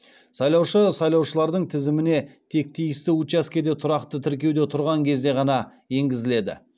сайлаушы сайлаушылардың тізіміне тек тиісті учаскеде тұрақты тіркеуде тұрған кезде ғана енгізіледі